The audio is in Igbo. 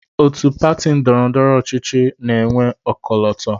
Otu pati ndọrọndọrọ dị iche iche na-enwe ọkọlọtọ